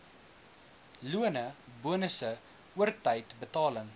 lone bonusse oortydbetaling